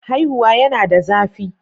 Haihuwa yana da zafi